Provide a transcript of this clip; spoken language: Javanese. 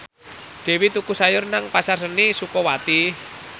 Dewi tuku sayur nang Pasar Seni Sukawati